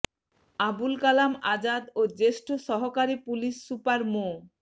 আবুল কালাম আজাদ ও জ্যেষ্ঠ সহকারী পুলিশ সুপার মো